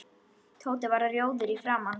Tóti varð rjóður í framan.